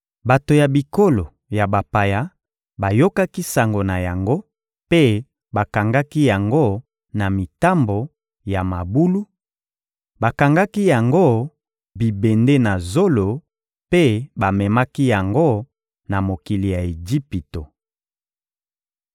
Bato ya bikolo ya bapaya bayokaki sango na yango mpe bakangaki yango na mitambo ya mabulu; bakangaki yango bibende na zolo mpe bamemaki yango na mokili ya Ejipito.